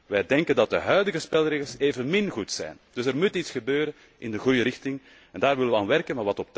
Wij denken dat de huidige spelregels evenmin goed zijn. Dus er moet iets gebeuren in de goede richting en daar willen we aan werken.